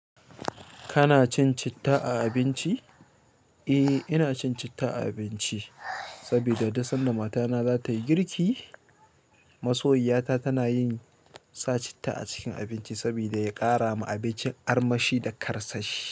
Kana cin citta a abinci? Eh, ina cin citta a abinci saboda duk sanda matana za ta yi girki. Masoyiyata tana yin sa citta acikin abinci saboda ya ƙara ma abincin armashi da karsashi.